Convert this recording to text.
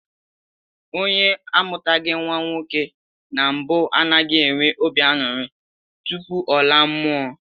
Onye amụtaghị nnwa nwoke na mbụ anaghị enwe obi aṅụrị tupu ọ laa mmụọ